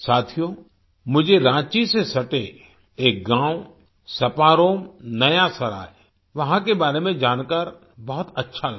साथियो मुझे राँची से सटे एक गाँव सपारोम नया सराय वहाँ के बारे में जान कर बहुत अच्छा लगा